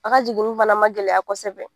A ka jiginni fana ma gɛlɛya kɔsɛbɛ.